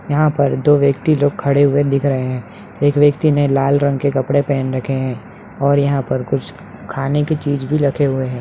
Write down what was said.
यहाँ पर दो व्यक्ति लोग खड़े हुए दिख रहे है एक व्यक्ति ने लाल रंग के कपड़े पहन रखे है और यहाँ पर कुछ खाने की चीज भी रखे हुए है।